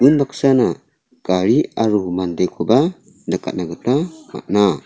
unbaksana gari aro mandekoba nikatna gita man·a